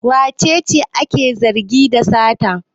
Wace ce ake zargi da sata?